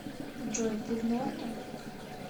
джой ты в норме